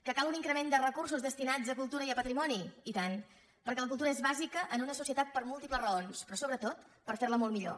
que cal un increment de recursos destinats a cultura i a patrimoni i tant perquè la cultura és bàsica en una societat per múltiples raons però sobretot per fer la molt millor